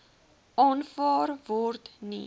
aanvaar word nie